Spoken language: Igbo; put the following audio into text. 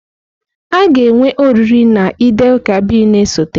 A ga-enwe oriri na Eid-el-Kabir na-esote.